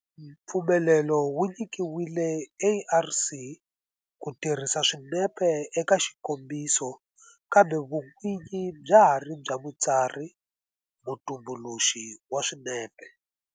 Mpfumelelo wu nyikiwile ARC ku tirhisa swinepe eka xikombiso kambe vun'winyi bya ha ri bya mutsari-mutumbuluxi wa swinepe